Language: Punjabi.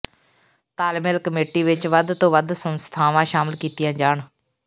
ਤਾਲਮੇਲ ਕਮੇਟੀ ਵਿੱਚ ਵੱਧ ਤੋਂ ਵੱਧ ਸੰਸਥਾਵਾਂ ਸ਼ਾਮਲ ਕੀਤੀਆਂ ਜਾਣ